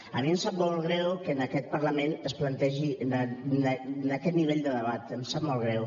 a mi em sap molt greu que en aquest parlament es plantegi aquest nivell de debat em sap molt greu